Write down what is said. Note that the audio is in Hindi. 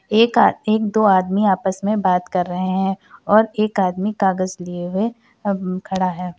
एक आ एक दो आदमी आपस में बात कर रहे हैं और एक आदमी कागस लिए हुए अम् खड़ा है।